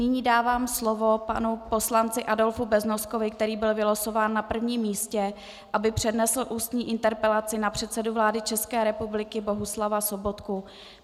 Nyní dávám slovo panu poslanci Adolfu Beznoskovi, který byl vylosován na prvním místě, aby přednesl ústní interpelaci na předsedu vlády České republiky Bohuslava Sobotku.